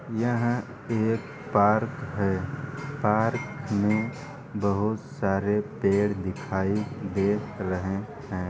यह एक पार्क है। पार्क में बहुत सारे पेड़ दिखाई दे रहें हैं।